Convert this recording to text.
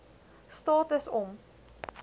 staat is om